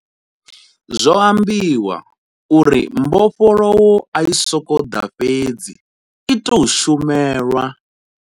Zwo ambiwa uri mbofholowo ai sokou ḓa fhedzi i tou shumelwa.